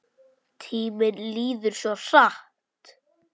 Tíminn líður svo hratt!